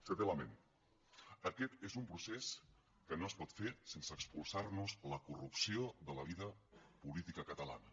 setè element aquest és un procés que no es pot fer sense expulsar nos la corrupció de la vida política catalana